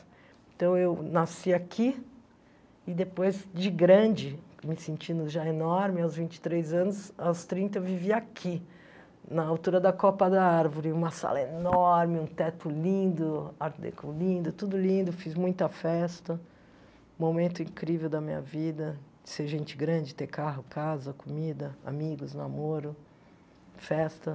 Então, eu nasci aqui e depois, de grande, me sentindo já enorme, aos vinte e três anos, aos trinta, eu vivi aqui, na altura da Copa da Árvore, uma sala enorme, um teto lindo, art deco lindo, tudo lindo, fiz muita festa, momento incrível da minha vida, ser gente grande, ter carro, casa, comida, amigos, namoro, festa.